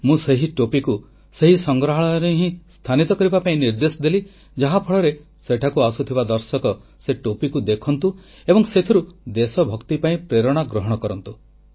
ମୁଁ ସେହି ଟୋପିକୁ ସେହି ସଂଗ୍ରହାଳୟରେ ହିଁ ସ୍ଥାନିତ କରିବା ପାଇଁ ନିର୍ଦ୍ଦେଶ ଦେଲି ଯାହାଫଳରେ ସେଠାକୁ ଆସୁଥିବା ଦର୍ଶକ ସେ ଟୋପିକୁ ଦେଖନ୍ତୁ ଏବଂ ସେଥିରୁ ଦେଶଭକ୍ତି ପାଇଁ ପ୍ରେରଣା ଗ୍ରହଣ କରନ୍ତୁ